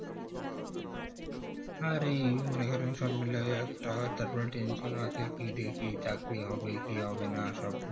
আরে মনে করেন সব মিলেই একটা তারপর tension আছে কি দিয়ে কি চাকরি হবে কি হবে না সব